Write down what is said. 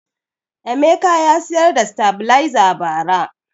Emeka ya siyar da sitabiliza ba ra